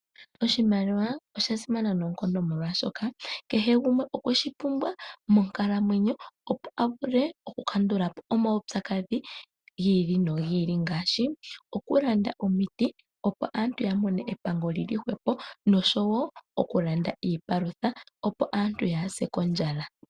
Oshimaliwa osha simana noonkondo molwaashoka kehe gumwe okwe shi pumbwa monkalamwenyo, opo a vule oku kandula po omaupyakadhi gi ili nogi ili ngaashi oku landa omiti, opo aantu ya mone epando lili hwepo noshowo okulanda iipalutha, opo aantu yaase kondjala.